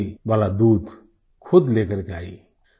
हल्दी वाला दूध खुद लेकर के आईं